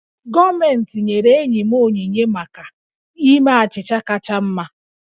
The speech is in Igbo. Gọọmentị nyere enyi m onyinye maka ime achịcha kacha mma